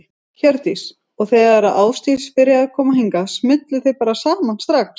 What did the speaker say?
Hjördís: Og þegar að Ásdís byrjaði að koma hingað, smullu þið bara saman strax?